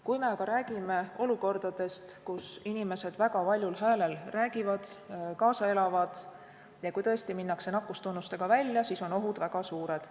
Kui me aga räägime olukordadest, kus inimesed väga valjul häälel räägivad, kaasa elavad ja kui tõesti minnakse nakkustunnustega välja, siis on ohud väga suured.